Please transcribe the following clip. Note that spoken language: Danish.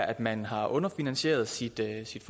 at man har underfinansieret sit